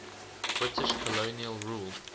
british colonial rule